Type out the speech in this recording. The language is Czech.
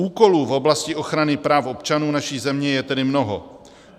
Úkolů v oblasti ochrany práv občanů naší země je tedy mnoho.